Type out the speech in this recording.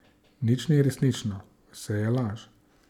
Nič ni resnično, vse je laž.